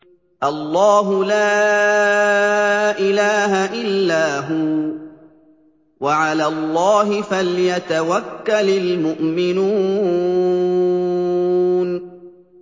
اللَّهُ لَا إِلَٰهَ إِلَّا هُوَ ۚ وَعَلَى اللَّهِ فَلْيَتَوَكَّلِ الْمُؤْمِنُونَ